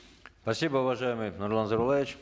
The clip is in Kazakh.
спасибо уважаемый нурлан зайроллаевич